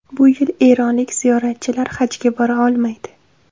Bu yil eronlik ziyoratchilar Hajga bora olmaydi.